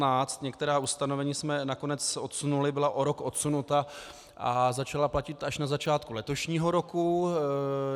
Některá ustanovení jsme nakonec odsunuli, byla o rok odsunuta a začala platit až na začátku letošního roku.